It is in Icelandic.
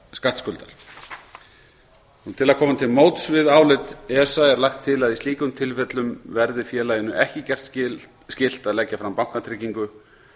skattskuldar til að koma til móts við álit esa er lagt til að í slíkum tilfellum verði félaginu ekki gert skylt að leggja fram bankatryggingu